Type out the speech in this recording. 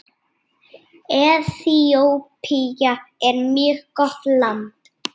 Eþíópía er mjög gott land.